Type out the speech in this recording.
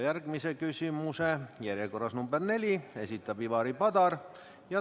Järgmise küsimuse, järjekorras number 4, esitab Ivari Padar.